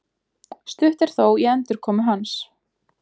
Stutt er þó í endurkomu hans